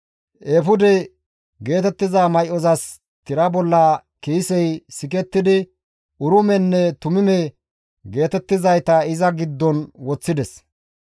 Eefude geetettiza may7ozas tira bolla kiisey sikettidi Urimenne Tumime geetettizayta iza giddon woththides.